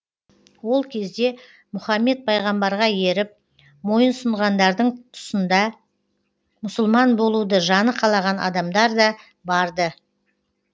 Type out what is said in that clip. ол кезде мұхаммед пайғамбарға еріп мойынсұнғандардың тұсында мұсылман болуды жаны қалаған адамдар да бар ды